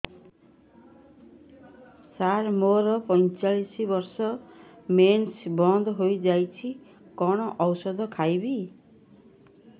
ସାର ମୋର ପଞ୍ଚଚାଳିଶି ବର୍ଷ ମେନ୍ସେସ ବନ୍ଦ ହେଇଯାଇଛି କଣ ଓଷଦ ଖାଇବି